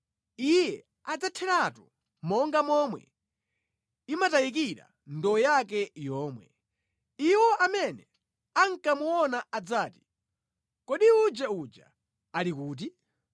iye adzatheratu monga momwe imatayikira ndowe yake yomwe; iwo amene ankamuona adzati, ‘Kodi uje uja ali kuti?’